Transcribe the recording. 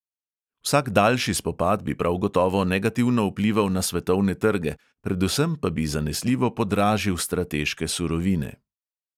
Vsak daljši spopad bi prav gotovo negativno vplival na svetovne trge, predvsem pa bi zanesljivo podražil strateške surovine.